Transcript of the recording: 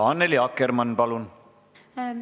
Annely Akkermann, palun!